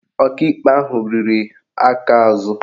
Ọkaikpe ahụ riri aka azụ